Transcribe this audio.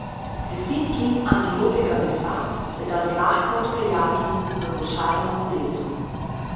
Deset kil antilopjega mesa se da zlahka odpeljati v košari na kolesu.